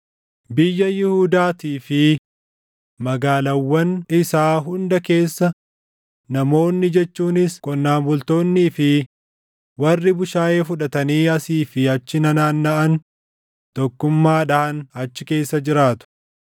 Biyya Yihuudaatii fi magaalaawwan isaa hunda keessa namoonni jechuunis qonnaan bultoonnii fi warri bushaayee fudhatanii asii fi achi nanaannaʼan tokkummaadhaan achi keessa jiraatu.